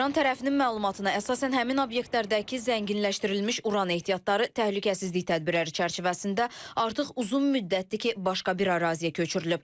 İran tərəfinin məlumatına əsasən həmin obyektlərdəki zənginləşdirilmiş uran ehtiyatları təhlükəsizlik tədbirləri çərçivəsində artıq uzun müddətdir ki, başqa bir əraziyə köçürülüb.